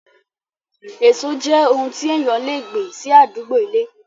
Èso jẹ́ oun tí èèyàn le gbìn sí àdúgbó ilé